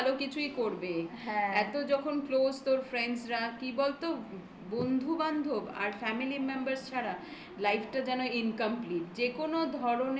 আর ও নিশ্চয়ই ভালো কিছুই করবে. হ্যাঁ. এত যখন close তোর friends রা. কি বলতো বন্ধুবান্ধব আর family র members ছাড়া life টা যেন incomplete. যেকোনো ধরণের